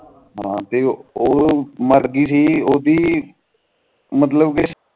ਹਨ ਤੇ ਉਹ ਮਾਰ ਗਈ ਸੀ ਓਹਦੀ ਮਤਲਬ ਕਿ ਓਹਦੀ